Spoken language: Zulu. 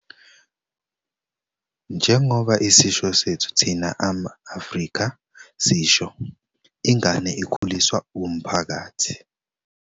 Njengoba isisho sethu thina ama-Afrika sisho, "ingane ikhuliswa wumphakathi".